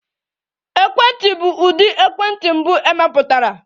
Ekwentị bụ ụdị ekwentị mbụ emepụtara.